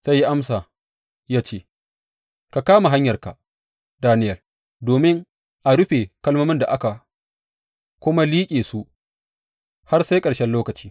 Sai ya amsa ya ce, Ka kama hanyarka, Daniyel, domin a rufe kalmomin aka kuma liƙe su har sai ƙarshen lokaci.